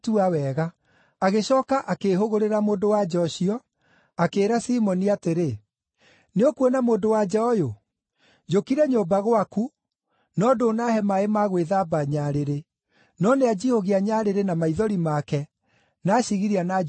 Agĩcooka akĩĩhũgũrĩra mũndũ-wa-nja ũcio, akĩĩra Simoni atĩrĩ, “Nĩũkuona mũndũ-wa-nja ũyũ? Njũkire nyũmba gwaku, no ndũnaahe maaĩ ma gwĩthamba nyarĩrĩ, no nĩanjihũgia nyarĩrĩ na maithori make, na acigiria na njuĩrĩ yake.